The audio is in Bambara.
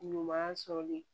Ɲuman sɔrɔli